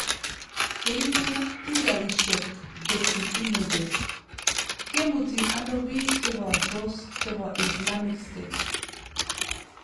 Che ibu pichaisyek , Getty Images. Kemuti ano biik che bortos chebo Islamic State?